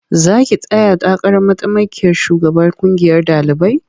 Za ki tsaya takarar mataimakiyar shugabar ƙungiyar ɗalibai?